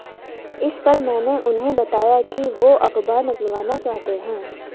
इस पर मैंने उन्हें बताया कि वो अखबार निकलवाना चाहते हैं